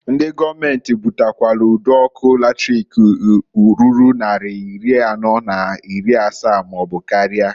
Ndi gọọmenti butakwalụ ụd' ọkụ latrik ruru nnari iri anọọ n'iri n'asaa maọbụ karịa.